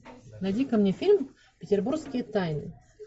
найди ка мне фильм петербургские тайны